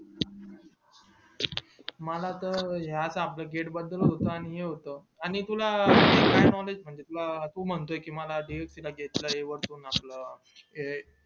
मला त हे आता आपलं gate बंद होत आणि तुला काय knowledge तू म्हणतो कि मला आपलं